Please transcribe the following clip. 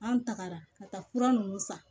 An tagara ka taa fura ninnu san